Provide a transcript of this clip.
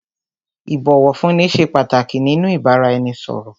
Ìbọ̀wọ̀fúnni ṣé pàtàkì nínú ìbáraẹnisọ̀rọ̀.